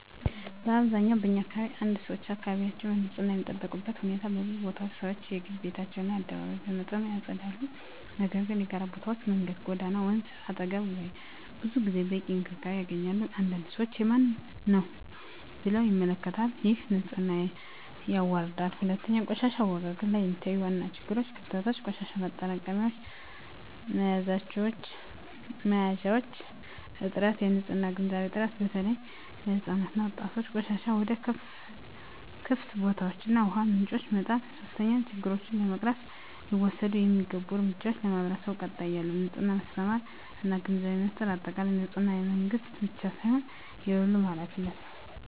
በአብዛኛው በኛ አካባቢ 1️⃣ ሰዎች አካባቢያቸውን በንፅህና የሚጠብቁበት ሁኔታ በብዙ ቦታዎች ሰዎች የግል ቤታቸውን እና አደባባይ በመጠኑ ያጸዳሉ፤ ነገር ግን የጋራ ቦታዎች (መንገድ፣ ጎዳና፣ ወንዝ አጠገብ) ብዙ ጊዜ በቂ እንክብካቤ አያገኙም። አንዳንድ ሰዎች “የማንም ነው” ብለው ይመለከቱታል፣ ይህም ንፅህናን ያዋርዳል። 2, በቆሻሻ አወጋገድ ላይ የሚታዩ ዋና ችግሮች / ክፍተቶች - የቆሻሻ ማጠራቀሚያ መያዣዎች እጥረት -የንፅህና ግንዛቤ እጥረት (በተለይ ለሕፃናት እና ወጣቶች) -ቆሻሻን ወደ ክፍት ቦታዎች እና ውሃ ምንጮች መጣል 3, ችግሮቹን ለመቅረፍ ሊወሰዱ የሚገቡ እርምጃዎች ,ለማህበረሰቡ ቀጣይነት ያለው የንፅህና ማስተማር እና ግንዛቤ ፍጠር በአጠቃላይ፣ ንፅህና የመንግስት ብቻ ሳይሆን የሁሉም ኃላፊነት ነው።